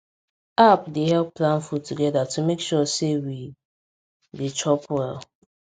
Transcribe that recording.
app dey help plan food together to make sure say we dey chop well